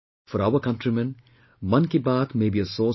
For our countrymen, Mann Ki Baat may be a source of information